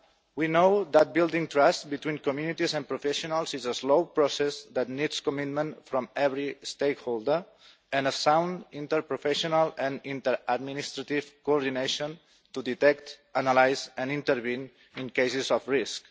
We know that building trust between communities and professionals is a slow process that needs commitment from every stakeholder, and sound interprofessional and inter-administrative coordination to detect, analyse and intervene in cases of risk.